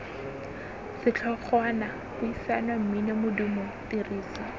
setlhogwana puisano mmino modumo tiriso